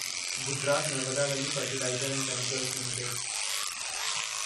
Gujarat Narmada valley fertiliser ऐं chemicals limited